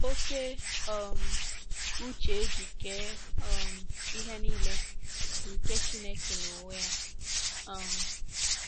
Oke um uche e ji kee um ihe nile bụ nke Chineke n’onwe ya. um